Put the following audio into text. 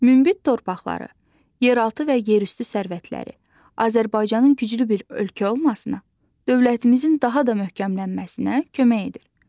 Münbit torpaqları, yeraltı və yerüstü sərvətləri Azərbaycanın güclü bir ölkə olmasına, dövlətimizin daha da möhkəmlənməsinə kömək edir.